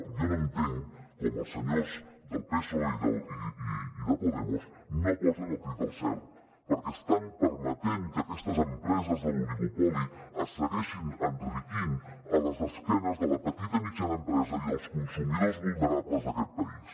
jo no entenc com els senyors del psoe i de podemos no posen el crit al cel perquè estan permetent que aquestes empreses de l’oligopoli es segueixin enriquint a les esquenes de la petita i mitjana empresa i dels consumidors vulnerables d’aquest país